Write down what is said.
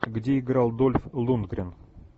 где играл дольф лундгрен